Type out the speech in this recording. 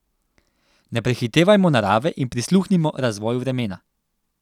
Ne prehitevajmo narave in prisluhnimo razvoju vremena.